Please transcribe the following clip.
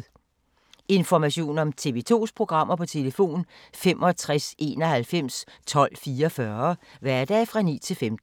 Information om TV 2's programmer: 65 91 12 44, hverdage 9-15.